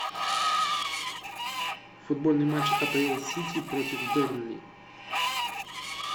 футбольный матч апл сити против бернли